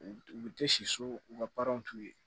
U u bɛ tɛ si so u ka t'u ye